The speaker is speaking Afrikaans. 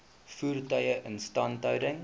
voertuie instandhouding